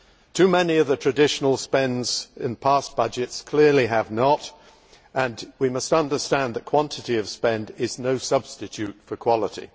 Too many of the traditional spends in past budgets clearly have not, and we must understand that quantity of spend is no substitute for quality.